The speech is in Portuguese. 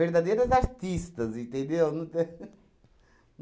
Verdadeiras artistas, entendeu? Não